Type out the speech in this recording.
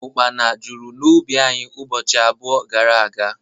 Ukpana jụrụ n'ubi anyị ụbọchị abụọ gara aga